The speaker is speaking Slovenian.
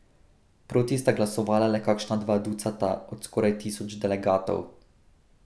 Proti sta glasovala le kakšna dva ducata od skoraj tisoč delegatov.